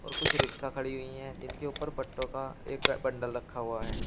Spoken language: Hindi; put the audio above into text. कुछ रिक्शा खड़ी हुई हैं इनके ऊपर पत्तों का एक बंडल रखा हुआ है।